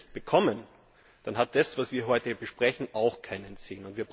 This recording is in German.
Wenn wir das nicht bekommen, dann hat das, was wir heute hier besprechen, auch keinen Sinn.